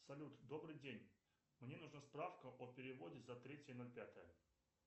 салют добрый день мне нужна справка о переводе за третье ноль пятое